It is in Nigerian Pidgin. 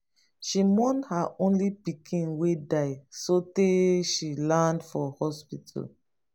she mourn her only pikin wey die sotee she land for hospital.